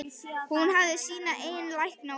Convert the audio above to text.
Hún hefði sína eigin lækna úti.